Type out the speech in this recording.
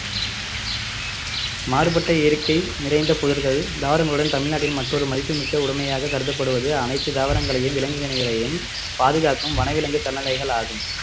மாறுபட்ட இயற்கை நிறைந்த புதர்கள் தாவரங்களுடன் தமிழ்நாட்டின் மற்றொரு மதிப்புமிக்க உடைமையாக கருதப்படுவது அனைத்து தாவரங்களையும் விலங்கினங்களையும் பாதுகாக்கும் வனவிலங்கு சரணாலயங்கள் ஆகும்